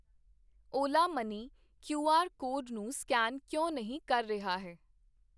Ola money Q R code ਨੂੰ scan ਕਿਉਂ ਨਹੀਂ ਕਰ ਰਿਹਾ ਹੈ?